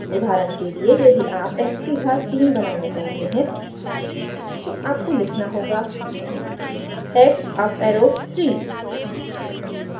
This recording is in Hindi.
उदाहरण के लिए यदि आप x की घात 3 बनाना चाहते हैं तो आपको लिखना होगा x up arrow 3